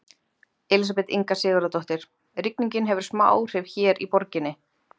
Elísabet Inga Sigurðardóttir: Rigningin hefur smá áhrif hér í borginni?